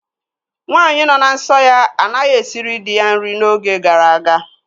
Nwaanyị nọ na nsọ ya anaghị esiri dị ya nri n'oge gara aga